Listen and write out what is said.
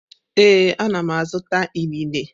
Ee, ana m azụta inine.